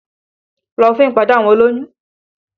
Lọ fún ìpàdé àwọn olóyún!